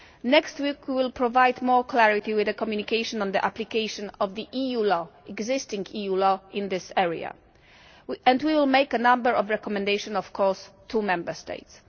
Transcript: Next week we will provide more clarity with a communication on the application of the existing EU law in this area and we will make a number of recommendations of course to Member States.